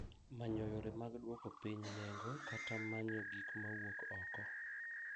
Manyo yore mag dwoko piny nengo kata manyo gik ma wuok oko.